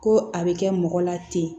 Ko a bɛ kɛ mɔgɔ la ten